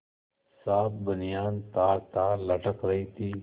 साफ बनियान तारतार लटक रही थी